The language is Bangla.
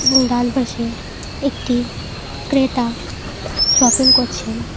এবং ডান পাশে একটি ক্রেতা শপিং করছেন।